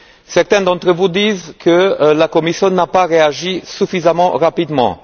Certains d'entre vous disent que la Commission n'a pas réagi suffisamment rapidement.